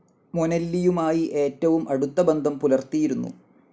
മൊനെല്ലിയുമായി ഏറ്റവും അടുത്ത ബന്ധം പുലർത്തിയിരുന്നു.